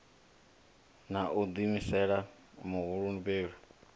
na u ḓiimisela huhulu mbilahelo